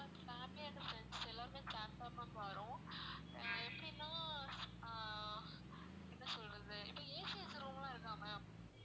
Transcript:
ma'am family and friends எல்லாருமே சேர்ந்து தான் ma'am வர்றோம் அஹ் எப்படினா ஆஹ் என்ன சொல்றது இப்ப AC வச்ச room லாம் இருக்கா ma'am